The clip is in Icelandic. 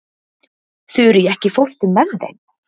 Þurí, ekki fórstu með þeim?